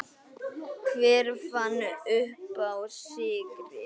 Hver fann uppá sykri?